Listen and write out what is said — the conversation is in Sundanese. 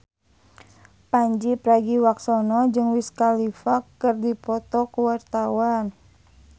Pandji Pragiwaksono jeung Wiz Khalifa keur dipoto ku wartawan